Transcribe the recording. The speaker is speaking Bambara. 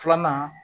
Filanan